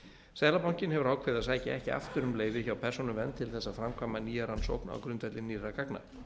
seðlabankinn hefur ákveðið að sækja ekki aftur um leyfi hjá persónuvernd til þess að framkvæma nýja rannsókn á grundvelli nýrra gagna